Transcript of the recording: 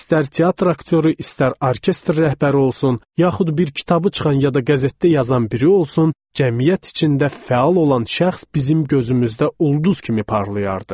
İstər teatr aktyoru, istər orkestr rəhbəri olsun, yaxud bir kitabı çıxan ya da qəzetdə yazan biri olsun, cəmiyyət içində fəal olan şəxs bizim gözümüzdə ulduz kimi parlayardı.